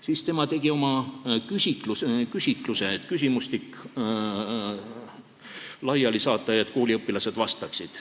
Siis ta tegi küsimustiku ja saatis laiali, et kooliõpilased vastaksid.